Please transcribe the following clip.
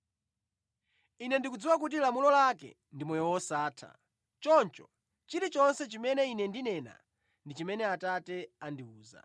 Ine ndikudziwa kuti lamulo lake ndi moyo wosatha. Choncho chilichonse chimene Ine ndinena ndi chimene Atate andiwuza.”